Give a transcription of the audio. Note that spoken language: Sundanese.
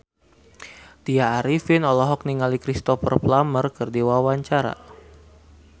Tya Arifin olohok ningali Cristhoper Plumer keur diwawancara